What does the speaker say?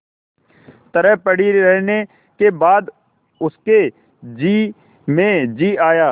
तरह पड़ी रहने के बाद उसके जी में जी आया